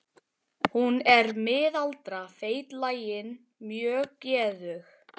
Hún er miðaldra, feitlagin, mjög geðug.